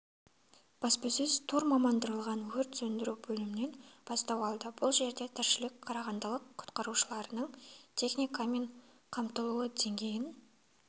баспасөз тур мамандандырылған өрт сөндіру бөлімінен бастау алды бұл жерде тілшілер қарағандылық құтқарушыларының техникамен қаммтылу деңгейін